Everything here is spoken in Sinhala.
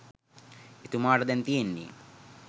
එතුමාට දැන් තියෙන්නේ